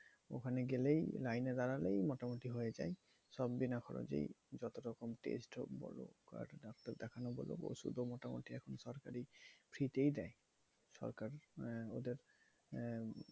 ওখানে গেলেই লাইনে দাঁড়ালেই মোটামুটি হয়ে যায়। সব বিনা খরচেই যতরকম test হোক বলো আর ডাক্তার দেখানো বলো ওষুধও মোটামুটি এখন সরকারি free তেই দেয় সরকার। ওদের আহ